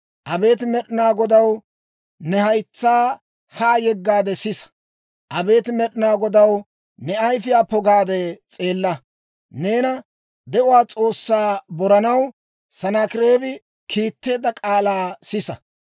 Abeet Med'inaa Godaw, ne haytsaa haa yeggaade sisa. Abeet Med'inaa Godaw, ne ayfiyaa pogaade s'eella. Neena, de'uwaa S'oossaa boranaw Sanaakireebi kiitteedda k'aalaa sisa.